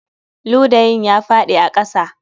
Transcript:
Ludayin ya faɗi a ƙasa